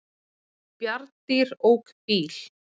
Bjarndýr ók bíl